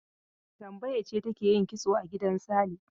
Tambaya ce take yin kitso a gidan Sale.